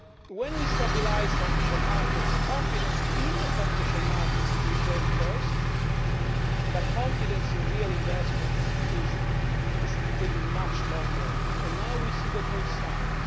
When we stabilise financial markets, confidence in the financial markets returns first, but confidence in real investment takes much longer, and now we see the first signs.